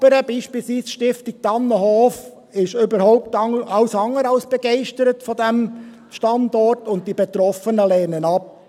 Die Nachbarn, beispielsweise die Stiftung Tannenhof, ist alles andere als begeistert von diesem Standort, und die Betroffenen lehnen ihn ab.